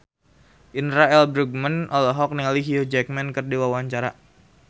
Indra L. Bruggman olohok ningali Hugh Jackman keur diwawancara